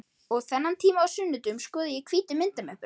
Og þennan tíma á sunnudögum skoða ég hvítu myndamöppuna.